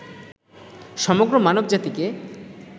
সমগ্র মানব জাতিকে